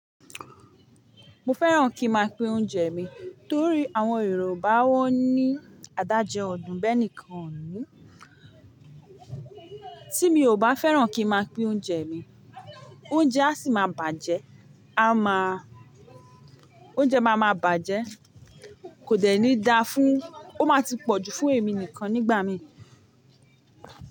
Mo fẹ́ràn kí n máa pín oúnjẹ mi torí àwọn Yorùbá wọ́n ní adáje odún bẹ́ẹ̀ nìkan ni. Tí mi ò bá fẹ́ràn kí n máa pín oúnjẹ mi, oúnjẹ a sì máa bàjẹ́, a máa, oúnjẹ máa máa bàjẹ́, kò dẹ́ni dá fún, ó máa ti pọ̀jù fún èmi nìkan nígbà mí.